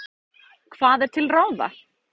Hvað er til ráða?